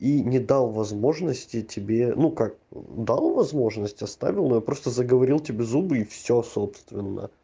и не дал возможности тебе ну как дал возможность оставил её просто заговорил тебе зубы и все собственно